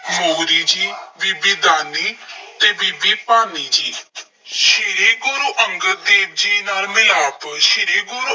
ਮੋਹਰੀ ਜੀ, ਬੀਬੀ ਦਾਨੀ ਅਤੇ ਬੀਬੀ ਭਾਨੀ ਜੀ। ਸ਼੍ਰੀ ਗੁਰੂ ਅੰਗਦ ਦੇਵ ਜੀ ਨਾਲ ਮਿਲਾਪ- ਸ਼੍ਰੀ ਗੁਰੂ